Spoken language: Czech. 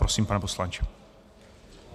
Prosím, pane poslanče.